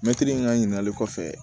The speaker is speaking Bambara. Mɛtiri ka ɲininkali kɔfɛ